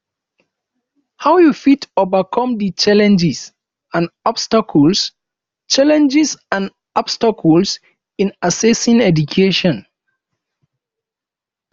how you fit overcome di challenges and obstacles challenges and obstacles in accessing education